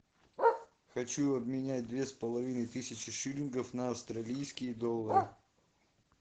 хочу обменять две с половиной тысячи шиллингов на австралийские доллары